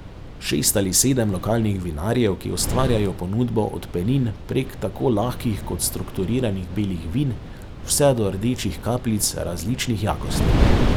Šest ali sedem lokalnih vinarjev, ki ustvarjajo ponudbo od penin prek tako lahkih kot strukturiranih belih vin vse do rdečih kapljic različnih jakosti.